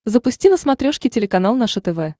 запусти на смотрешке телеканал наше тв